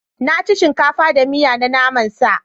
Na ci shinkafa da miya na naman sa.